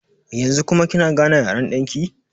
Yanzu kuma kina gane yaren ɗan ki?